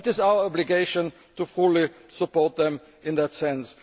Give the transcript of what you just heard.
that is our obligation, to fully support them in that sense.